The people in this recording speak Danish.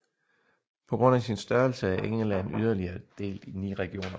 På grund af sin størrelse er England yderligere delt i 9 regioner